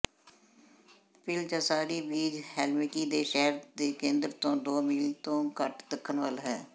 Pihlajasaari beach Helsinki ਦੇ ਸ਼ਹਿਰ ਦੇ ਕੇਂਦਰ ਤੋਂ ਦੋ ਮੀਲ ਤੋਂ ਘੱਟ ਦੱਖਣ ਵੱਲ ਹੈ